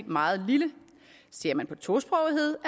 meget lille ser man på tosprogethed